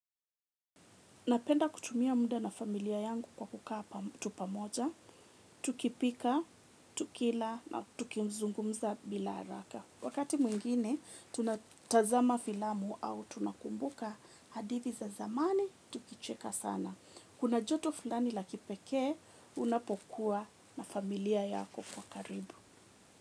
Napenda kutumia muda na familia yangu kwa kukaa pamoja. Tukipika, tukila na tukizungumza bila haraka. Wakati mwingine, tunatazama filamu au tunakumbuka hadithi za zamani, tukicheka sana. Kuna joto fulani la kipekee, unapokuwa na familia yako kwa karibu.